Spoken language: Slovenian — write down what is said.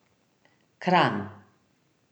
Kranj.